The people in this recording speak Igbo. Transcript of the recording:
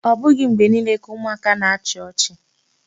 Ọ bụghị mgbe niile ka ụmụaka na-achị ọchị.